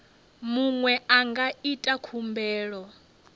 muṅwe a nga ita khumbelo